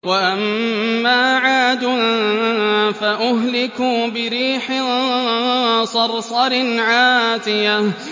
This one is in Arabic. وَأَمَّا عَادٌ فَأُهْلِكُوا بِرِيحٍ صَرْصَرٍ عَاتِيَةٍ